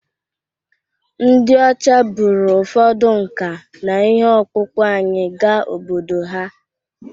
Ndị ọcha buru ụfọdụ nka na ihe ọkpụkpụ anyị gaa obodo ha